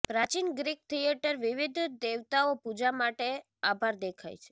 પ્રાચીન Greek theatre વિવિધ દેવતાઓ પૂજા માટે આભાર દેખાય છે